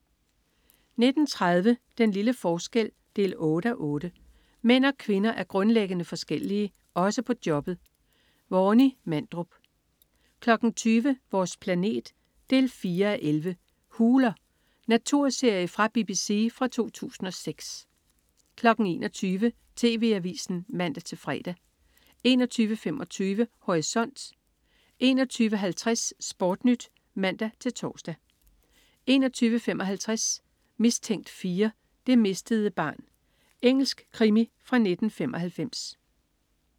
19.30 Den lille forskel 8:8. Mænd og kvinder er grundlæggende forskellige. Også på jobbet. Warny Mandrup 20.00 Vores planet 4:11. "Huler". Naturserie fra BBC fra 2006 21.00 TV Avisen (man-fre) 21.25 Horisont 21.50 SportNyt (man-tors) 21.55 Mistænkt 4: Det mistede barn. Engelsk krimi fra 1995